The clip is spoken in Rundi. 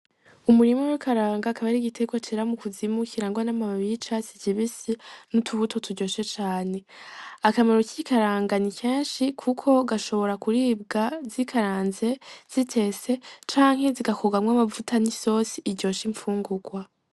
Umurima wi ikaranga akaba ari igitegwa cera mu kuzimu kirangwa n' amababi y'icatsi kibisi n' utubuto turyoshe cane, akamaro k'ikaranga ni kenshi kuko gashobora kuribwa zikaranze, zitetse canke zigakugwamwo amavuta n' isosi iryosha infungugwa.